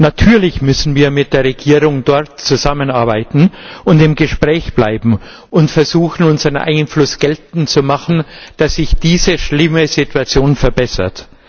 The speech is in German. Natürlich müssen wir mit der Regierung dort zusammenarbeiten und im Gespräch bleiben und versuchen, unseren Einfluss geltend zu machen, damit sich diese schlimme Situation verbessert.